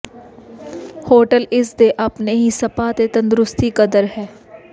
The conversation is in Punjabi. ਹੋਟਲ ਇਸ ਦੇ ਆਪਣੇ ਹੀ ਸਪਾ ਅਤੇ ਤੰਦਰੁਸਤੀ ਕਦਰ ਹੈ